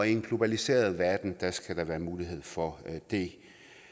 en globaliseret verden skal der være mulighed for det